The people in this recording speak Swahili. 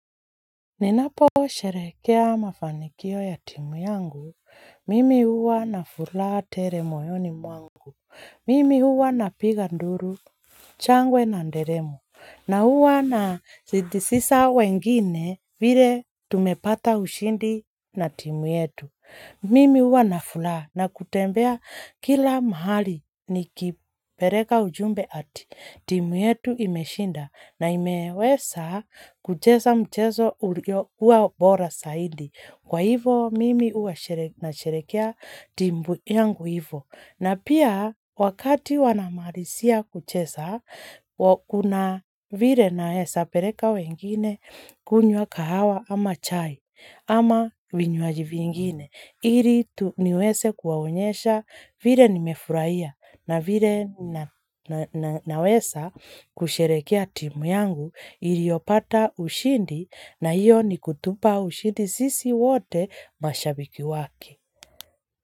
Ninaposherehekea mafanikio ya timu yangu, mimi huwa na furaha tele moyoni mwangu. Mimi huwa napiga nduru, shangwe na nderemo, na huwa na sitisisa wengine vile tumepata ushindi na timu yetu. Mimi huwa na furaha na kutembea kila mahali nikipeleka ujumbe ati, timu yetu imeshinda na imeweza kucheza mchezo kuwa bora zaidi, kwa hivo mimi huwa nasherehekea timu yangu hivo. Na pia wakati wanamalizia kucheza, kuna vile naeza peleka wengine kunywa kahawa ama chai ama vinywaji vingine. Ili niweze kuwaonyesha vile nimefurahia na vile naweza kusherehekea timu yangu iliyopata ushindi na hiyo ni kutupa ushindi sisi wote mashabiki wake.